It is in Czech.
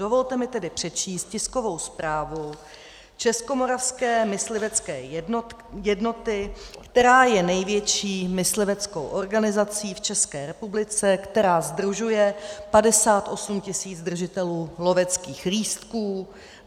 Dovolte mi tedy přečíst tiskovou zprávu Českomoravské myslivecké jednoty, která je největší mysliveckou organizací v České republice, která sdružuje 58 000 držitelů loveckých lístků.